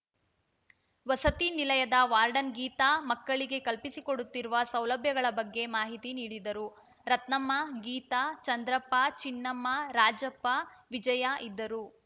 ವಸತಿ ನಿಲಯದ ವಾರ್ಡನ್‌ ಗೀತಾ ಮಕ್ಕಳಿಗೆ ಕಲ್ಪಿಸಿಕೊಡುತ್ತಿರುವ ಸೌಲಭ್ಯಗಳ ಬಗ್ಗೆ ಮಾಹಿತಿ ನೀಡಿದರು ರತ್ನಮ್ಮ ಗೀತಾ ಚಂದ್ರಪ್ಪ ಚಿನ್ನಮ್ಮ ರಾಜಪ್ಪ ವಿಜಯ ಇದ್ದರು